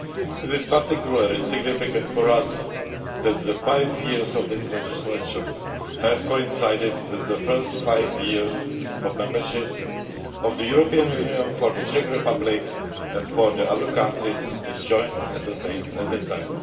It is particularly significant for us that the five years of this legislature have coincided with the first five years of membership of the European Union for the Czech Republic and for the other countries which joined at that time.